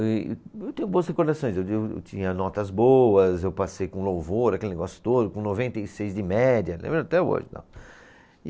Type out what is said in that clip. E eu tenho boas recordações, eu de, eu tinha notas boas, eu passei com louvor, aquele negócio todo, com noventa e seis de média, lembro até hoje e tal.